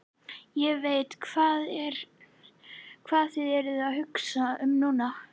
Ég veit, hvað þið eruð að hugsa um núna.